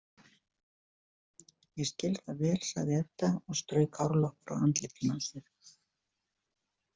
Ég skil það vel, sagði Edda og strauk hárlokk frá andlitinu á sér.